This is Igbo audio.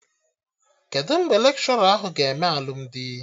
Kedụ mgbe lekshọra ahụ ga-eme alụmdi?